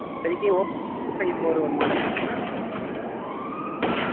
இப்போதைக்கு oppoAfive four ஒரு model இருக்கு mam